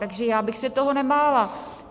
Takže já bych se toho nebála.